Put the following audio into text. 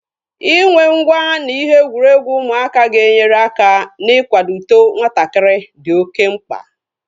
Inwe ngwá na ihe egwuregwu ụmụaka ga-enyere aka ná-ikwado uto nwatakịrị dị oké mkpa